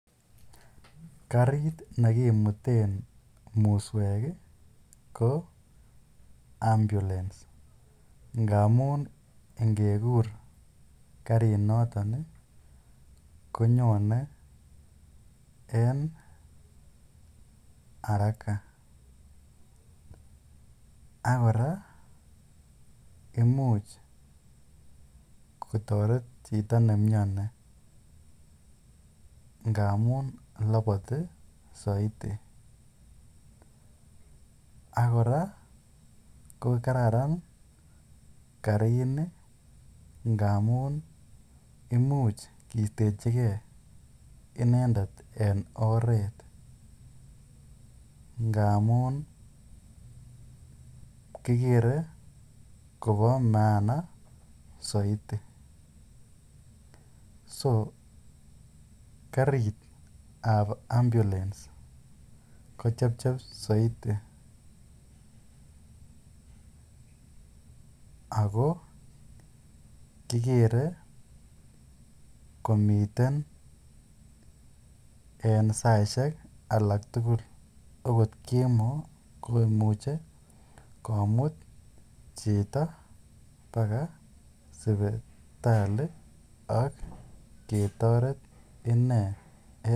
Karit nekimuten muswek ko ambulence ngamun ingekur karinoton konyone en araka ak kora imuch kotoret chito nemioni ngamun loboti soiti ak kora ko kararan karini ngamun imuch kistechike inendet en oreet ngamun kikere kobo maana soiti, so karitab ambulence ko chepchep soiti ak ko kikere komiten en saishek alak tukul okot kemoo komuche komut chito bakaa sipitali ak ketoret inee.